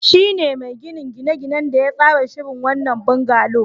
Shi ne mai ginin gine-ginen da ya tsara shirin wannan bungalow.